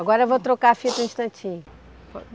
Agora eu vou trocar a fita um instantinho.